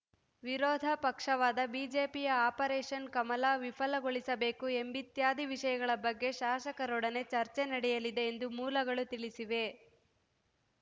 ವಿರೋಧ ಪಕ್ಷವಾದ ಬಿಜೆಪಿಯ ಆಪರೇಷನ್‌ ಕಮಲ ವಿಫಲಗೊಳಿಸಬೇಕು ಎಂಬಿತ್ಯಾದಿ ವಿಷಯಗಳ ಬಗ್ಗೆ ಶಾಸಕರೊಡನೆ ಚರ್ಚೆ ನಡೆಯಲಿದೆ ಎಂದು ಮೂಲಗಳು ತಿಳಿಸಿವೆ